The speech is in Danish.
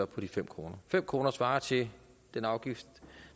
på de fem kroner fem kroner svarer til den afgift